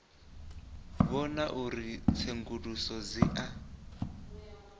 vhona uri tsenguluso dzi a